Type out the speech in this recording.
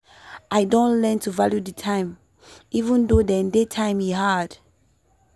i don learn to value the time even though dey day time e hard.